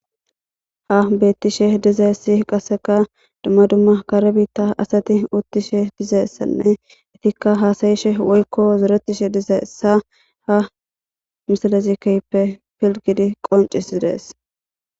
ha beettishe dizeessi qasseka dumma dumma kare biitta asati uttishe dizeessanne itikka haasayishe woykko zuretishe dizaessa ha misalezikeppe pilgidi qoncis idees